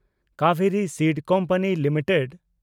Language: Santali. Kaveri seed company limited